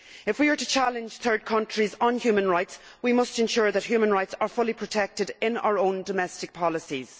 If we are to challenge third countries on human rights we must ensure that human rights are fully protected in our own domestic policies.